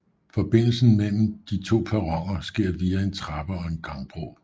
Forbindelse mellem de to perroner sker via en trappe og gangbro